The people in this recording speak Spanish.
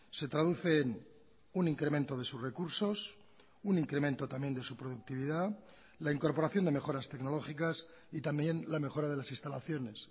se traduce en un incremento de sus recursos un incremento también de su productividad la incorporación de mejoras tecnológicas y también la mejora de las instalaciones